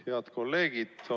Head kolleegid!